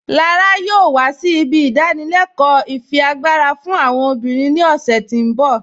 Lára yọọ wà sí ibi ìdánìlẹ̀kọ ifiagbara fún àwọn obìnrin ni ọ̀ṣẹ̀ tí n bọ̀.